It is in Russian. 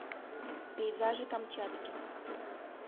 пейзажи камчатки